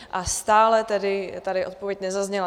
A stále tady tedy odpověď nezazněla.